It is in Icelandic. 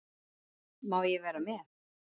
Má ég vera með?